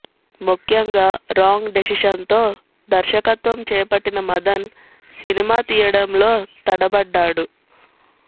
ముఖ్యంగా రాంగ్ డెసిషన్తో దర్శకత్వం చేపట్టిన మదన్ సినిమా తీయడంలో తడబడ్డాడు